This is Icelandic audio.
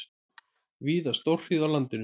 Víða stórhríð á landinu